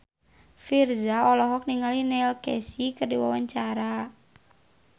Virzha olohok ningali Neil Casey keur diwawancara